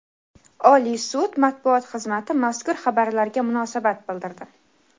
Oliy sud matbuot xizmati mazkur xabarlarga munosabat bildirdi.